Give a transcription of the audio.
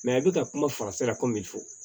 i bɛ ka kuma fɔ